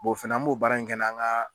Bɔ o fɛnɛ an b'o baara in kɛ n'an ka